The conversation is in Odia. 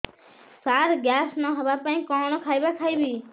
ସାର ଗ୍ୟାସ ନ ହେବା ପାଇଁ କଣ ଖାଇବା ଖାଇବି